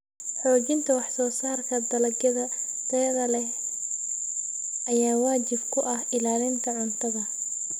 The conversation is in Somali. Xoojinta wax-soo-saarka dalagyada tayada leh ayaa waajib ku ah ilaalinta cuntada.